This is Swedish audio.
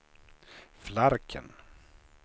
Flarken